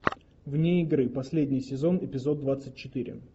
вне игры последний сезон эпизод двадцать четыре